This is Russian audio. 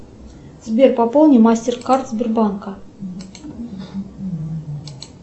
сбер пополни мастеркард сбербанка